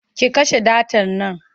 Ke kashe datar nan!